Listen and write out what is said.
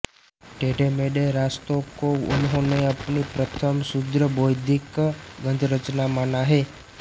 टेढ़ेमेढ़े रास्ते को उन्होंने अपनी प्रथम शुद्ध बौद्धिक गद्यरचना माना है